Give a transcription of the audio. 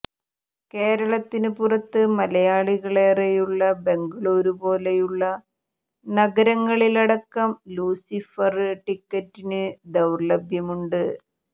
കേരളത്തിന് പുറത്ത് മലയാളികള് ഏറെയുള്ള ബംഗളൂരു പോലെയുള്ള നഗരങ്ങളിലടക്കം ലൂസിഫര് ടിക്കറ്റിന് ദൌര്ലഭ്യമുണ്ട്